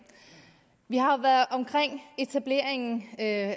vi har jo været omkring etableringen af